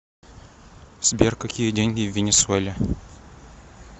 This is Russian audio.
сбер какие деньги в венесуэле